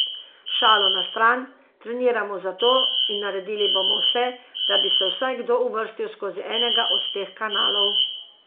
Šalo na stran, treniramo za to in naredili bomo vse, da bi se vsaj kdo uvrstil skozi enega od teh kanalov.